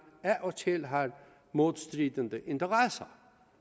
af og til har modstridende interesser